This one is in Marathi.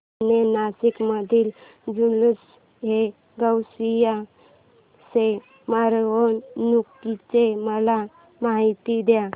जुने नाशिक मधील जुलूसएगौसिया च्या मिरवणूकीची मला माहिती दे